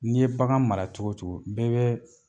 N'i ye bagan mara cogo o cogo dɔ bɛ.